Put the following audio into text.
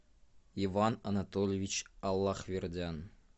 иван анатольевич аллахвердян